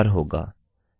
यह 1234 होगा